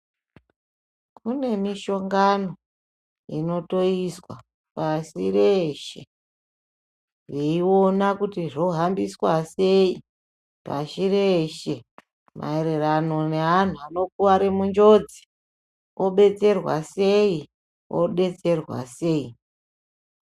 Kunemishongano inotoizwa pasi reshe, veiona kuti zvohambiswa sei pashi reshe maererano neantu anokware munjodzi, odetserwa sei, odetserwa sei.